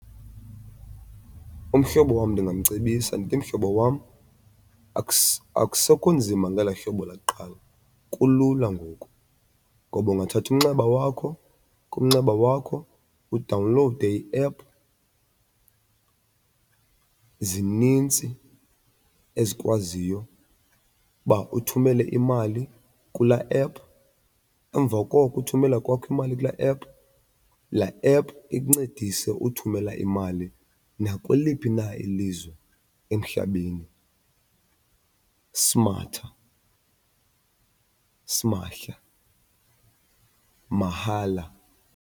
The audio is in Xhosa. Umhlobo wam ndingamcebisa ndithi, mhlobo wam akusekho nzima ngelaa hlobo lakuqala kulula ngoku ngoba ungathatha umnxeba wakho kumnxeba wakho udawunlowude iephu. Zinintsi ezikwaziyo uba uthumele imali kulaa ephu. Emva koko uthumela kwakho imali kulaa ephu, laa ephu ikuncedise uthumela imali nakweliphi na ilizwe emhlabeni simahla, mahala.